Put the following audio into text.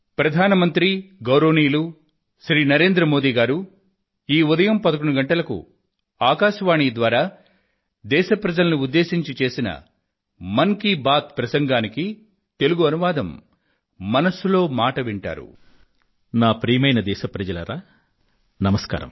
ప్రియమైన నా దేశ వాసులారా నమస్కారం